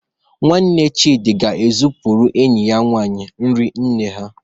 Nwanne Chidi ga-ekpughere enyi ya nwanyị nri nne ha